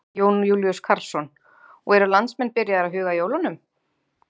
Jón Júlíus Karlsson: Og eru landsmenn byrjaðir að huga að jólunum?